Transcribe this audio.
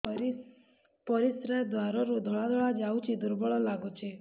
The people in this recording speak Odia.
ପରିଶ୍ରା ଦ୍ୱାର ରୁ ଧଳା ଧଳା ଯାଉଚି ଦୁର୍ବଳ ଲାଗୁଚି